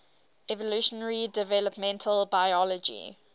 evolutionary developmental biology